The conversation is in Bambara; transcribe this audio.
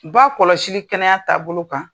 Ba kɔlɔsili kɛnɛya taabolo kan.